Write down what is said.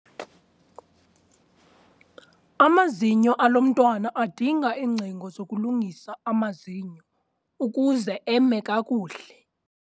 Amazinyo alo mntwana adinga iingcingo zokulungisa amazinyo ukuze eme kakuhle.